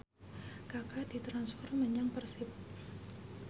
Kaka ditransfer menyang Persib